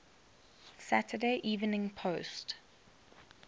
saturday evening post